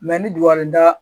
ni dugukɔli da